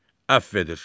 Əfv edir.